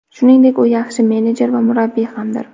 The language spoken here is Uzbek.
Shuningdek, u yaxshi menejer va murabbiy hamdir.